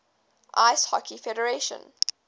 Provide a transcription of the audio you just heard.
ice hockey federation